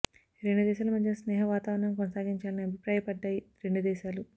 రెండు దేశాల మధ్య స్నేహ వాతావరణం కొనసాగించాలని అభిప్రాయపడ్డాయి రెండు దేశాలు